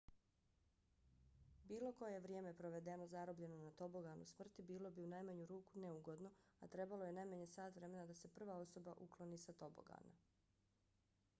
bilo koje vrijeme provedeno zarobljeno na toboganu smrti bilo bi u najmanju ruku neugodno a trebalo je najmanje sat vremena da se prva osoba ukloni sa tobogana.